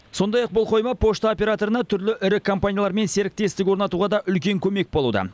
сондай ақ бұл қойма пошта операторына түрлі ірі компаниялармен серіктестік орнатуға да үлкен көмек болуда